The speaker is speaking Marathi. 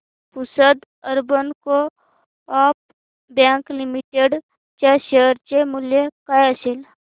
Pusad urban co-op bank limited च्या शेअर चे मूल्य काय असेल